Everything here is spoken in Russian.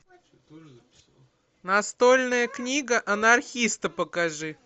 настольная книга анархиста покажи